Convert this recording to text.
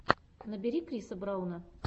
набери криса брауна